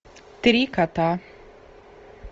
три кота